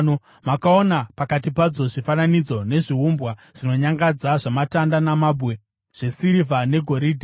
Makaona pakati padzo zvifananidzo nezviumbwa zvinonyangadza zvamatanda namabwe, zvesirivha negoridhe.